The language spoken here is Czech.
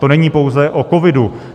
To není pouze o covidu.